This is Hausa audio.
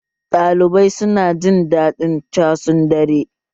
Ɗalibai su na jin daɗin casun dare